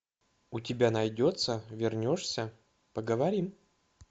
у тебя найдется вернешься поговорим